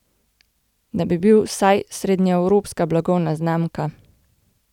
Da bi bil vsaj srednjeevropska blagovna znamka.